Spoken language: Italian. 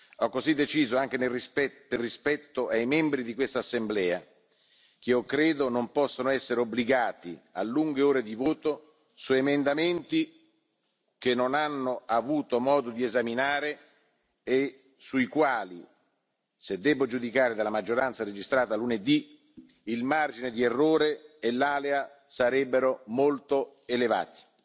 Ho così deciso, anche per rispetto per i membri di quest'Assemblea, che io credo non possano essere obbligati a lunghe ore di voto su emendamenti che non hanno avuto modo di esaminare e sui quali, se devo giudicare dalla maggioranza registrata lunedì, il margine di errore e l'alea sarebbero molto elevati.